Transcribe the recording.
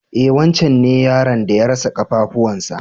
E wancen ne yaron da ya rasa ƙafafuwan sa.